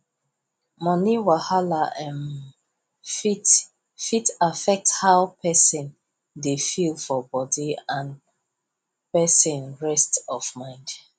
money wahala um fit fit affect how person dey feel for body and person rest of mind